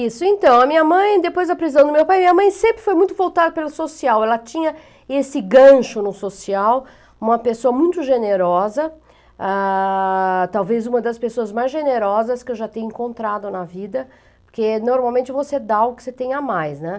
Isso, então, a minha mãe, depois da prisão do meu pai, minha mãe sempre foi muito voltada pelo social, ela tinha esse gancho no social, uma pessoa muito generosa, ah... talvez uma das pessoas mais generosas que eu já tenha encontrado na vida, porque normalmente você dá o que você tem a mais, né?